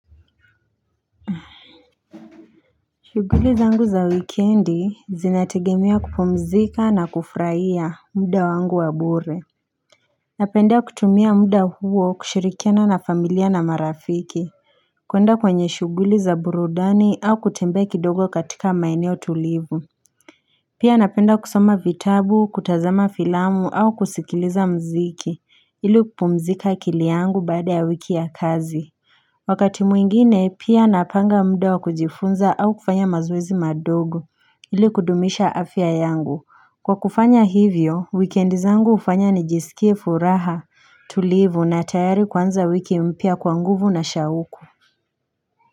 Shuguli zangu za wikendi zinategemea kupumzika na kufuraia muda wangu wa bure Napenda kutumia muda huo kushirikiana na familia na marafiki kuenda kwenye shuguli za burudani au kutembea kidogo katika maeneo tulivu Pia napenda kusoma vitabu kutazama filamu au kusikiliza mziki ili kupumzika akili yangu baada ya wiki ya kazi Wakati mwingine pia napanga muda kujifunza au kufanya mazoezi madogo ili kudumisha afya yangu. Kwa kufanya hivyo, wikendi zangu ufanya ni jisikie furaha tulivu na tayari kwanza wiki mpyaa kwa nguvu na shauku.